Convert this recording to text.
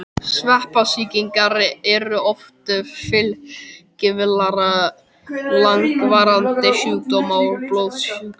Sveppasýkingar eru oft fylgikvillar langvarandi sjúkdóma og blóðsjúkdóma.